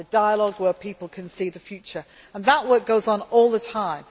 We have the dialogue where people can see the future, and that work goes on all the time.